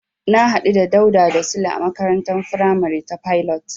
Na hadu da Dauda da Sule a makarantar faramari ta Pilot.